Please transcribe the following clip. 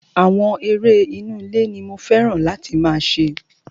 Àwọn eré inú ilé ní mo fẹ́ràn láti máa ṣe.